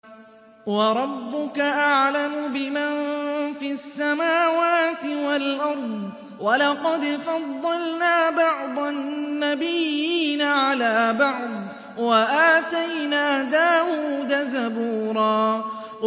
وَرَبُّكَ أَعْلَمُ بِمَن فِي السَّمَاوَاتِ وَالْأَرْضِ ۗ وَلَقَدْ فَضَّلْنَا بَعْضَ النَّبِيِّينَ عَلَىٰ بَعْضٍ ۖ وَآتَيْنَا دَاوُودَ زَبُورًا